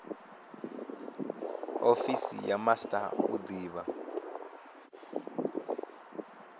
ofisi ya master u divha